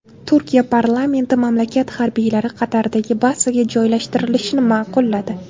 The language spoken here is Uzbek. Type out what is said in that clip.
Turkiya parlamenti mamlakat harbiylari Qatardagi bazaga joylashtirilishini ma’qulladi.